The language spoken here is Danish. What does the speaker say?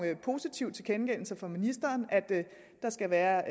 positive tilkendegivelser fra ministeren om at der skal være